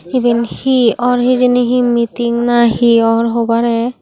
iben he or hijeni he meeting na he or hobarey.